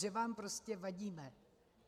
Že vám prostě vadíme.